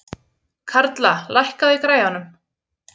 Karla, lækkaðu í græjunum.